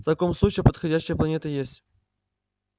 в таком случае подходящая планета есть